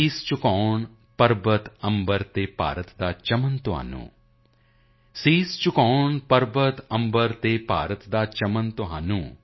ਸ਼ੀਸ਼ ਝੁਕਾਏ ਪਰਵਤ ਅੰਬਰ ਔਰ ਭਾਰਤ ਕਾ ਚਮਨ ਤੁਮੇ ਸ਼ੀਸ਼ ਝੁਕਾਏ ਪਰਵਤ ਅੰਬਰ ਔਰ ਭਾਰਤ ਕਾ ਚਮਨ ਤੁਮੇ